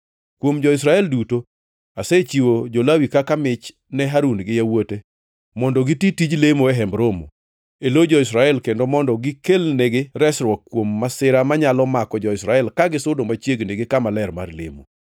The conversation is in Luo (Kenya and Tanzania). Kuom jo-Israel duto, asechiwo jo-Lawi kaka mich ne Harun gi yawuote mondo giti tij lemo e Hemb Romo e lo jo-Israel kendo mondo gikelnegi resruok kuom masira manyalo mako jo-Israel ka gisudo machiegni gi kama ler mar lemo.”